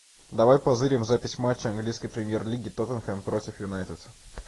давай позырим запись матча английской премьер лиги тоттенхэм против юнайтед